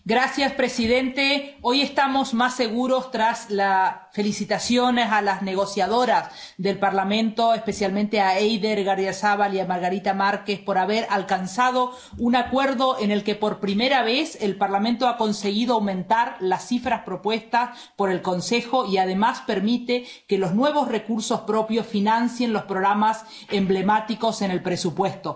Señor presidente, hoy estamos más seguros, tras las felicitaciones a las negociadoras del Parlamento, especialmente a Eider Gardiazabal y a Margarida Marques, por haber alcanzado un acuerdo en el que por primera vez el Parlamento ha conseguido aumentar las cifras propuestas por el Consejo y que, además, permite que los nuevos recursos propios financien los programas emblemáticos en el presupuesto.